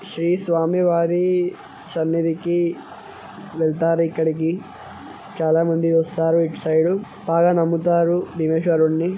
శ్రీ స్వామివారీ సన్నిధికీ వెళ్తారు ఇక్కడికి చాల మంది వస్తారు ఇటు సైడ్ బాగా నమ్ముతారు భీమేశ్వరున్ని .